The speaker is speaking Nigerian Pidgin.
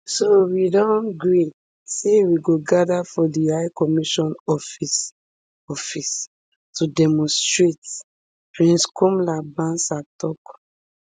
so we don gree say we go gather for di high commission office office to demonstrate prince komla bansah tok